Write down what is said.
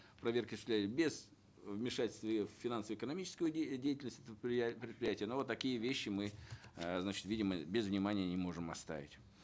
проверки осуществляли без вмешательства э в финансово экономическую деятельность предприятия но такие вещи мы э значит видим мы без внимания не можем оставить